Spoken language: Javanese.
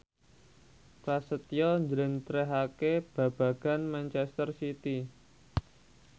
Prasetyo njlentrehake babagan manchester city